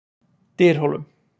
Dyrhólum